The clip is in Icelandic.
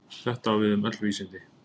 Þetta á við um öll vísindi.